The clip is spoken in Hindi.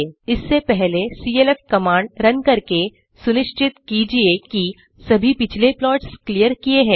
इससे पहले सीएलएफ कमांड रन करके सुनिश्चित कीजिये कि सभी पिछले प्लॉट्स क्लिअर किए हैं